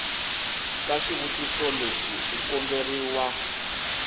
ka xitiviso lexi u komberiwa